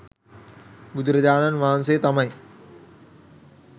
බුදුරජාණන් වහන්සේ තමයි